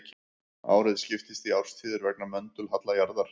Árið skiptist í árstíðir vegna möndulhalla jarðar.